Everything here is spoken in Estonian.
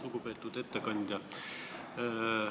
Lugupeetud ettekandja!